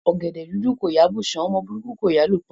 Ọ̀gẹ̀dẹ̀ dúdú kò yá bù sàn, ọmọ burúkú kò yá lù pa.